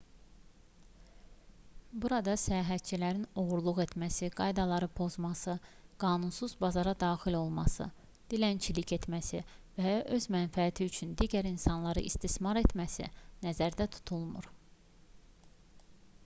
burada səyahətçilərin oğurluq etməsi qaydaları pozması qanunsuz bazara daxil olması dilənçilik etməsi və ya öz mənfəəti üçün digər insanları istismar etməsi nəzərdə tutulmur